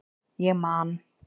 Ég man